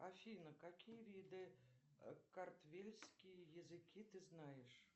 афина какие виды картвельские языки ты знаешь